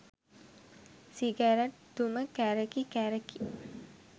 cigarette දුම කැරකි කැරකි